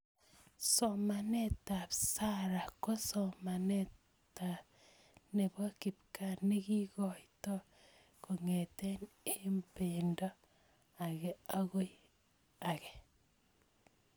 Somanetab zaraa ko somanetab nebo kipkaa nekikoitoi kongete ebendo age agoi age